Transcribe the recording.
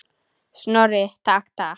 Snorri, takk, takk.